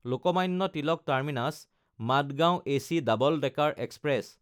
Lokmanya Tilak টাৰ্মিনাছ–মাদগাঁও AC double decker express